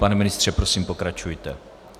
Pane ministře, prosím, pokračujte.